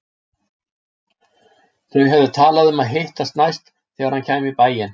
Þau höfðu talað um að hittast næst þegar hann kæmi í bæinn.